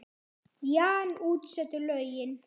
Jan útsetur lögin.